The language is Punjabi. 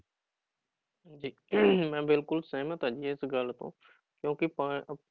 ਜੀ ਮੈਂ ਬਿਲਕੁਲ ਸਹਿਮਤ ਹਾਂ ਜੀ ਇਸ ਗੱਲ ਤੋਂ ਕਿਉਂਕਿ ਪਾ